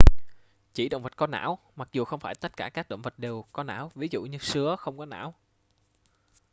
chỉ động vật có não mặc dù không phải tất cả các động vật đều có não; ví dụ như sứa không có não